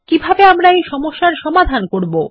কিভাবে আমরা এই সমস্যার সমাধান করব